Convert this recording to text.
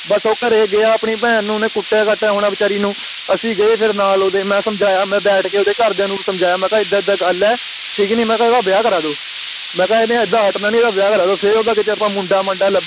ਬੱਸ ਉਹ ਘਰੇ ਗਿਆ ਆਪਣੀ ਭੈਣ ਨੂੰ ਓਹਨੇ ਕੁਟਿਆ ਕਾਟਿਆ ਹੋਣਾ ਵੇਚਾਰੀ ਨੂੰ ਅਸੀਂ ਗਏ ਫਿਰ ਨਾਲ ਓਹਦੇ ਮੈਂ ਸਮਝਾਇਆ ਮੈਂ ਬੈਠ ਕੇ ਓਹਦੇ ਘਰਦਿਆਂ ਨੂੰ ਸਮਝਾਇਆ ਮੈਂ ਕਿਹਾ ਏਦਾਂ ਏਦਾਂ ਗੱਲ ਠੀਕ ਨੀ ਮੈਂ ਕਿਹਾ ਏਦਾਂ ਵੇਆਹ ਕਰਾ ਦੋ ਮੈਂ ਕਿਹਾ ਏਨੇ ਏਦਾਂ ਹਟਣਾ ਨੀ ਏਦਾਂ ਵੇਆਹ ਕਰਾ ਦੋ ਫੇਰ ਕੀਤੇ ਅਸੀਂ ਓਦਾਂ ਮੁੰਡਾ ਮੰਡਾ ਲੱਭਿਆ